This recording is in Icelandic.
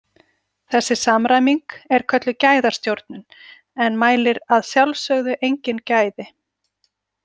Þessi samræming er kölluð gæðastjórnun en mælir að sjálfsögðu engin gæði.